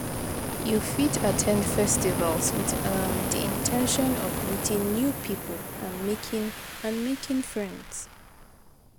You fit at ten d festivals with um di in ten tion of meeting new people and making and making friends.